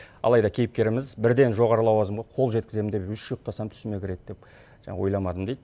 алайда кейіпкеріміз бірден жоғары лауазымға қол жеткіземін деп үш ұйықтасам түсіме кіреді деп жаңағы ойламадым дейді